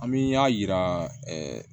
An mi y'a yira